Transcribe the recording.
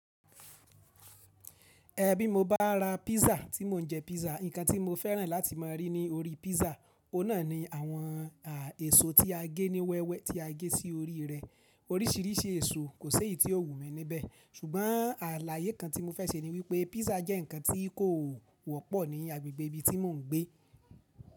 Ẹ̀ bí mo bá ra pizza tí mò ń jẹ pizza, nǹkan tí mo fẹ́ràn láti má a rí ní orí pizza, ohun nà ni àwọn èso tí a gé ní wẹ́wẹ́ tí a gé sí orí rẹ̀. Oríṣìíríṣìí èso, kò sé ì tí ó wù mí níbẹ̀. Ṣùgbọ́n àlàyé kan tí mo fẹ́ sẹ ní wípé pizza jẹ́ ǹkan tí kò wọ́pọ̀ ní agbègbè ibi tí mò ń gbé.